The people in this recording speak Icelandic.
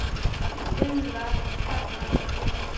Lilla, Kata og